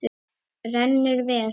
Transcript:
Rennur vel.